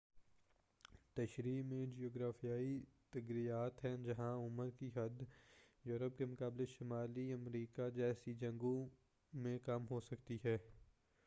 تشریح میں جغرافیائی تغیرات ہیں جہاں عمر کی حد یورپ کے مقابلے شمالی امریکہ جیسی جگہوں میں کم ہوسکتی ہے